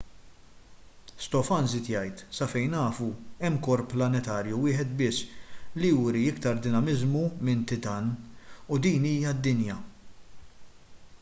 stofan żied jgħid sa fejn nafu hemm korp planetarju wieħed biss li juri iktar dinamiżmu minn titan u din hija d-dinja